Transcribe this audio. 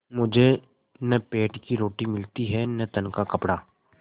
मुझे न पेट की रोटी मिलती है न तन का कपड़ा